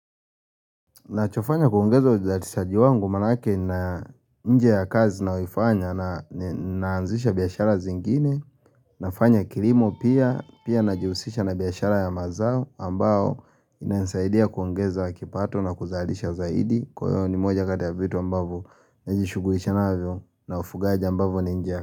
Nachofanya kuongeza uzatisaji wangu maanake na nje ya kazi nayo ifanya na naanzisha biashara zingine nafanya kilimo pia pia na jihusisha na biashara ya mazao ambao inanisaidia kuongeza wa kipato na kuzalisha zaidi kwa hiyo ni moja kati ya vitu ambavyo na jishugulisha navyo na ufugaji ambavo ninja.